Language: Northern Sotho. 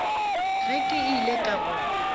ge ke ile ka go